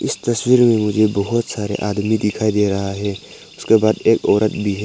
इस तस्वीर में मुझे बहोत सारे आदमी दिखाई दे रहा है उसके बाद एक औरत भी है।